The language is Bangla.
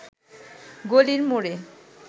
গলির মোড়ে